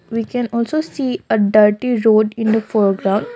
we can also see a dirty road in the for ground.